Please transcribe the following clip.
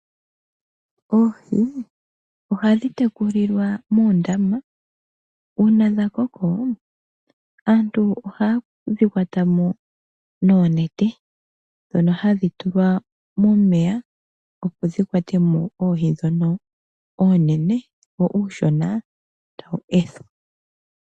Oohi ohadhi tekulilwa muundama, uuna dha koko aantu ohayedhi kwatamo noonete, dhono hadhi tulwa momeya opo dhi kwatemo oohi ndhono oonene, wo uushona tawu ethwa.